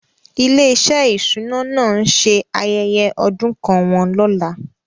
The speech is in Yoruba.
Ilé-iṣẹ́ ìṣúná náà ń ṣe ayẹyẹ ọdún kan wọn lọ́la.